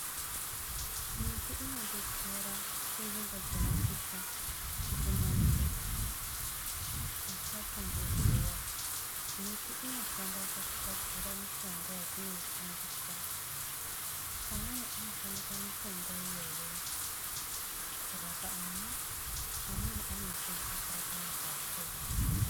Miti dzinodetsera kunzvimbo dzinopisha kuti muntu usatsva ngezuvamiti inoshanda he kugadzira mishonga yatinoshandisa tichishandisa mitombo iyoyo kurapa ana mweni anoshandisa kuraoa neandu akuru.